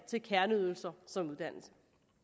kerneydelser som uddannelse